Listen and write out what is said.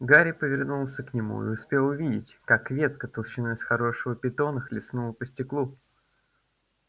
гарри повернулся к нему и успел увидеть как ветка толщиной с хорошего питона хлестнула по стеклу